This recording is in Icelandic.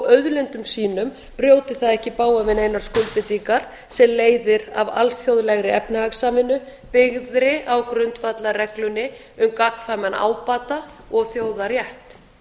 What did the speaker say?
auðlindum sínum brjóti það ekki í bága við neinar skuldbindingar sem leiðir af alþjóðlegri efnahagssamvinnu byggðri á grundvallarreglunni um gagnkvæman ábata og þjóðarétti